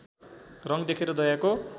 रङ देखेर दयाको